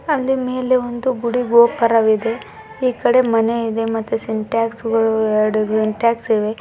ಅಲ್ಲಿ ಮೇಲೆ ಒಂದು ಗುಡಿ ಗೋಪುರವಿದೆ ಈಕಡೆ ಮನೆ ಇದೆ ಮತ್ತೇ ಸಿಟ್ಯಾಸ್ಗಳು ಎರಡು ಸಿಂಟ್ಯಾಸ್ಗಿಳಿವೆ .